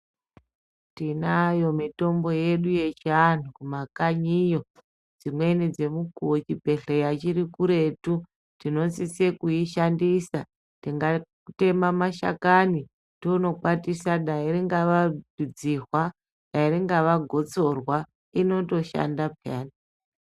Tinayo mitombo yedu yechiantu kumakanyiyo dzimweni dzemukuwo chibhedhleya chiri kuretu tinosise kuishandisa tingatema mashakani tonomakwatisa. Dai ringawa dzihwa ringava gotsorwa inotoshanda peyani.